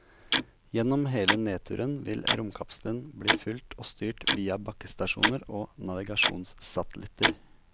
Gjennom hele nedturen vil romkapselen bli fulgt og styrt via bakkestasjoner og navigasjonsatellitter.